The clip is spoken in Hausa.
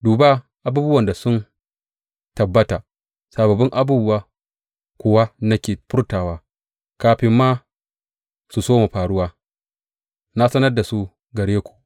Duba, abubuwan da sun tabbata, sababbin abubuwa kuwa nake furtawa; kafin ma su soma faruwa na sanar da su gare ku.